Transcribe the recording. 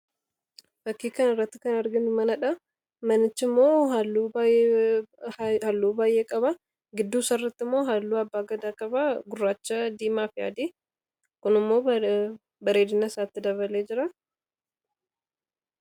fakkiikaan irratti kan arginu mana dha manichi immoo haalluu baay'ee qaba gidduu sarratti immoo haalluu abbaa gadaa qaba gurraacha diimaafi yaadi kunimmoo bareedinaa isaatti dabalee jira